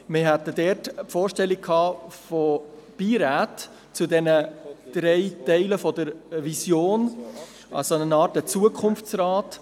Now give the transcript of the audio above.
Wir hatten die Vorstellung von Beiräten zu den drei Teilen der Vision, also einer Art Zukunftsrat.